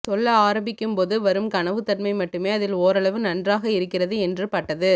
சொல்ல ஆரம்பிக்கும்போது வரும் கனவுத்தன்மை மட்டுமே அதில் ஓரளவு நன்றாக இருக்கிறது என்று பட்டது